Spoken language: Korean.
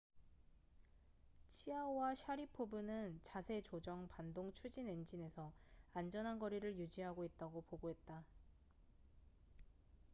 치아오와 샤리포브는 자세 조정 반동 추진 엔진에서 안전한 거리를 유지하고 있다고 보고했다